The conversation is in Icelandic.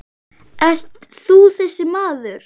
Ert þú þessi maður?